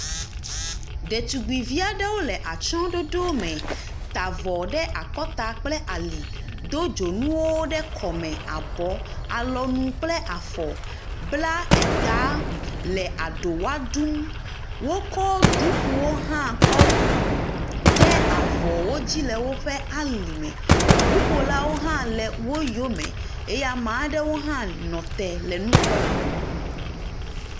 Detugbivi aɖewo le atsyɔ̃ɖoɖo me, ta avɔ ɖe akɔta kple ali, do dzonuwo ɖe kɔme, abɔ, alɔnu kple afɔ. Bla eta le aɖowa ɖum wokɔ ɖukuwo hã kɔ de avɔwo dzi le woƒe alime, ŋuƒolawo hã le wo yome eye ame aɖewo hã nɔ te le nu kpɔm.